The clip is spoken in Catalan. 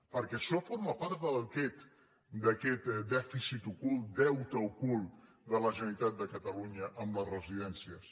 perquè això forma part d’aquest dèficit ocult deute ocult de la generalitat de catalunya amb les residències